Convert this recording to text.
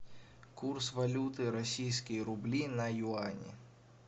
курс валюты российские рубли на юани